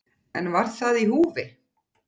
En var það í húfi?